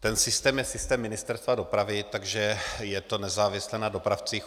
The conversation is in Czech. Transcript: Ten systém je systém Ministerstva dopravy, takže je to nezávislé na dopravcích.